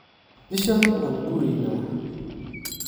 Bishan waan kuureyna.